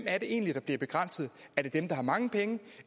er det egentlig der bliver begrænset er det dem der har mange penge